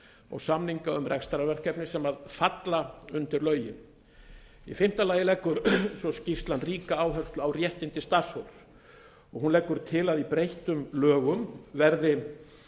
og samninga um rekstrarverkefni sem falla undir lögin í fimmta lagi leggur svo skýrslan ríka áherslu á réttindi starfsfólks og hún leggur til að í breyttum lögum verði